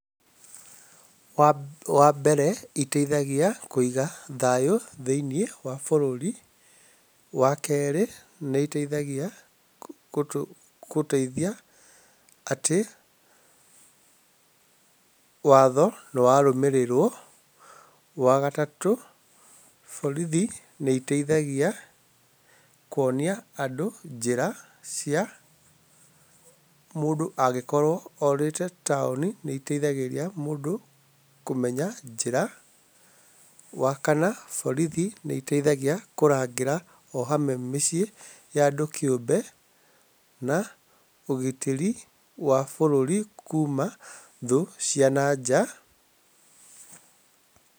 Wambere ĩteithagia Kũiga thayũ thĩiniĩ wa bũrũri. Wakerĩ, nĩ ĩteithagia kũteithia atĩ watho nĩwarũmĩrĩrwo. Wa gatatũ, borithi nĩteithagia kuonia andũ njĩra cia mũndũ, angĩkorwo orĩte taũni nĩ ĩteithagĩria kũmenya njĩra. Wa kana, borithi nĩteithagia kũrangĩra ohamwe mĩciĩ ya andũ kĩũmbe na ũgitĩri wa bũrũri kuma thũ cia nanja.